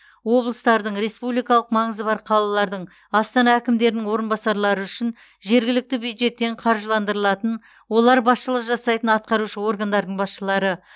облыстардың республикалық маңызы бар қалалардың астана әкімдерінің орынбасарлары үшін жергілікті бюджеттен қаржыландырылатын олар басшылық жасайтын атқарушы органдардың басшылары